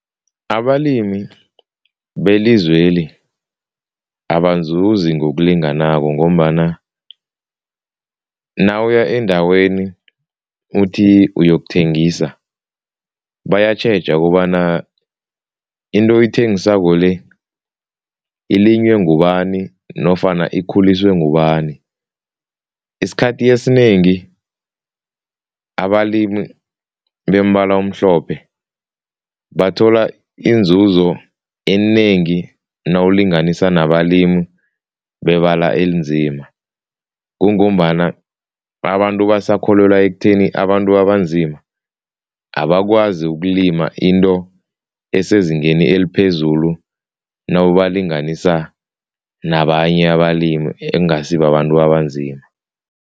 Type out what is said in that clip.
Abalimi belizweli abazuzi ngokulinganako ngombana nawuya endaweni uthi uyokuthengisa bayatjheja kobana into yithengisako le, ilinywe ngubani nofana ikhuliswe ngubani. Isikhathi esinengi abalimi bombala omhlophe bathola inzuzo enengi nawulinganisa nabalimi bebala elinzima. Kungombana abantu basakholelwa ekutheni abantu abanzima abakwazi ukulima into esezingeni eliphezulu nababalinganisa nabanye abalimi ekungasibabantu abanzima.